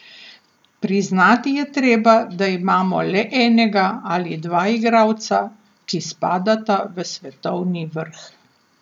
Priznati je treba, da imamo le enega ali dva igralca, ki spadata v svetovni vrh.